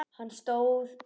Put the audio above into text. Hann stóð upp.